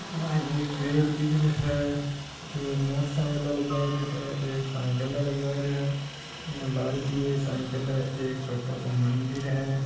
एक में पेड़ दिख रहा है यह एक मोटर साईकिल जा रहा है एक साइकिल वाला जा रहा है एक साइकिल आरो भी जारो है एक छोटो सो मदिर हैं।